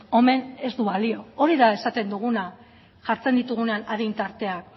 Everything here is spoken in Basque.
omen ez du balio hori da esaten duguna jartzen ditugunean adin tarteak